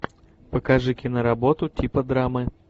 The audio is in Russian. покажи киноработу типа драмы